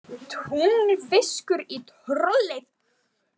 Tunglfiskur í trollið